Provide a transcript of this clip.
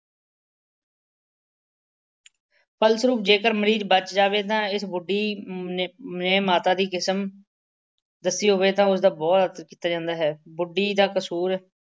ਫਸਸਰੂਪ ਜੇਕਰ ਮਰੀਜ਼ ਬੱਚ ਜਾਵੇ ਤਾਂ ਇਸ ਬੁੱਢੀ ਨੇ ਨੇ ਮਾਤਾ ਦੀ ਕਿਸਮ ਦੱਸੀ ਹੋਵੇ ਤਾਂ ਉਸਦਾ ਬਹੁਤ ਆਦਰ ਕੀਤਾ ਜਾਂਦਾ ਹੈ। ਬੁੱਢੀ ਦਾ ਕਸੂਰ